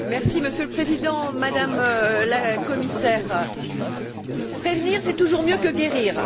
Monsieur le Président, Madame la Commissaire, prévenir, c'est toujours mieux que guérir.